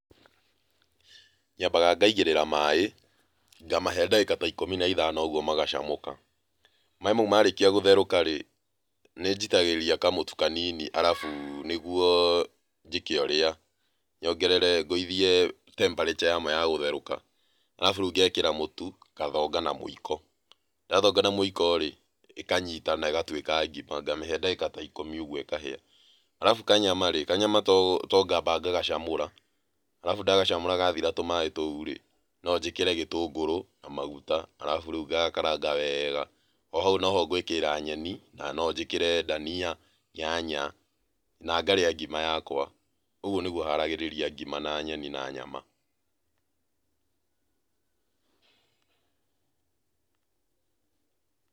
Nyambaga ngaigĩrĩra maaĩ, ngamahe ndagĩka ta ikũmi na ithano ũguo magacamũka. Maaĩ mau marĩkia gũcamũka rĩ, nĩ njitagĩrĩria kamũtu kanini, arabu nĩguo njĩke ũrĩa, nyongerere, ngũithĩe temperature yamo yagũtherũka, arabu rĩu ngekĩra mũtu, ngathonga na mũiko. Ndathonga na mũiko rĩ, ĩkanyitana ĩgatuĩka ngima ngamĩhe ndagĩka ta ikũmi ũguo ikahĩa. Arabũ kanyama rĩ, kanyama to ngamba ngagacamũra, arabũ ndagacamũra gathira tũmaaĩ tũu rĩ, no njĩkĩre gĩtũngũrũ na maguta, arabu rĩu ngakaranga wega, arabu rĩu hau no ho ngwĩkĩrĩra nyeni, na no njĩkĩre ndania, nyanya na ngarĩa ngima yakwa, ũguo nĩguo haragĩrĩria ngima, na nyeni, na nyama.